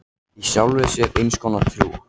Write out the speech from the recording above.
Í sjálfri sér eins konar trú.